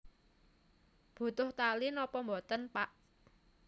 Butuh tali napa boten Pak